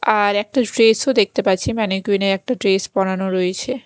আর একটা ড্রেস -ও দেখতে পাচ্ছি ম্যানিকুইন -এ একটা ড্রেস পরানো রয়েছে।